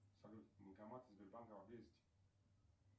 салют банкоматы сбербанка поблизости